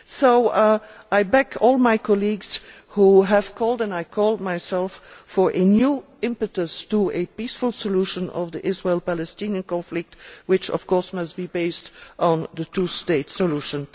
So I support all my colleagues who have called and I call myself for a new impetus to a peaceful solution of the Israel Palestinian conflict, which, of course, must be based on the two state solution.